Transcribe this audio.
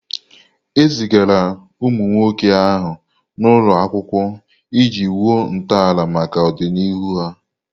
E zigara ụmụ nwoke ahụ n'ụlọ akwụkwọ iji wuo ntọala maka ọdịnihu ha.